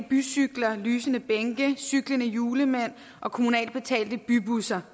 bycykler lysende bænke cyklende julemænd og kommunalt betalte bybusser